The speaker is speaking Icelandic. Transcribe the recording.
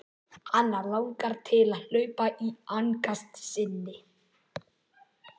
Hana langar til að hrópa í angist sinni.